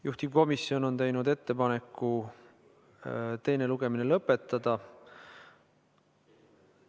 Juhtivkomisjon on teinud ettepaneku teine lugemine lõpetada.